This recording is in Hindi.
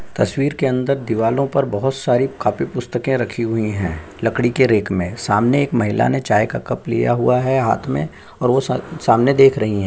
तसवीर के अंदर दीवालो पर बहुत सारे काफी पुस्तके राखी हुई है। लकड़ी के रेक में सामने एक महिला ने चाय का कप लिया हुआ है। हाथ में और वह सामने देख रही हैं --